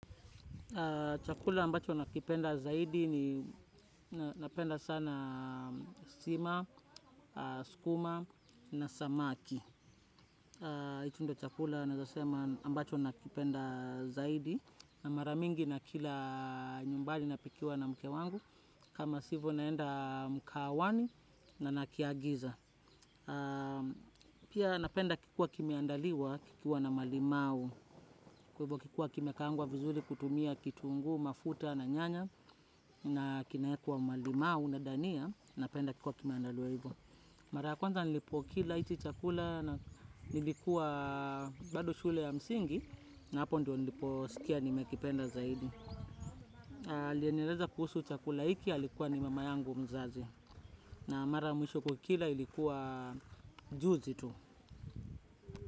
Chakula ambacho nakipenda zaidi ni napenda sana sima, skuma na samaki. Hicho ndo chakula naeza sema ambacho nakipenda zaidi na mara mingi nakila nyumbani napikiwa na mke wangu. Kama sivo naenda mkahawani na nakiagiza. Pia napenda kikiwa kimeandaliwa kikiwa na malimau. Kikiwa kimekaangwa vizuri kutumia kitunguu, mafuta na nyanya. Na kinaekwa malimau na dania napenda kikiwa kimeandaliwa hivyo. Mara ya kwanza nilipokila hichi chakula na nilikuwa bado shule ya msingi na hapo ndo niliposikia nimekipenda zaidi. Alieniereza kuhusu chakula hiki alikuwa ni mama yangu mzazi. Na mara mwisho kukila ilikuwa juzi tu.